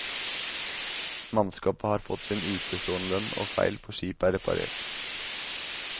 Mannskapet har fått sin utestående lønn, og feil på skipet er reparert.